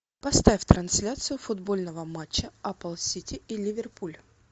поставь трансляцию футбольного матча апл сити и ливерпуль